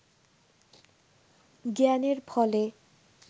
জ্ঞানের ফলে